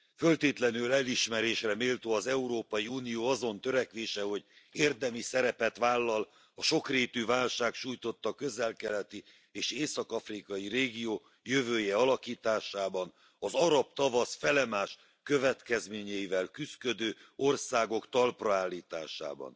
Föltétlenül elismerésre méltó az Európai Unió azon törekvése, hogy érdemi szerepet vállal a sokrétű válság sújtotta közel keleti, és észak afrikai régió jövőjének alakításában, az arab tavasz felemás következményeivel küszködő országok talpraállításában.